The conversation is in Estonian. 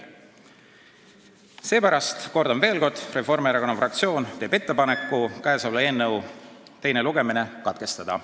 Seepärast, kordan veel kord, Reformierakonna fraktsioon teeb ettepaneku selle eelnõu teine lugemine katkestada.